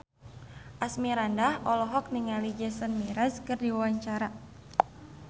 Asmirandah olohok ningali Jason Mraz keur diwawancara